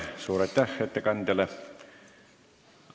Suur aitäh ettekandjale!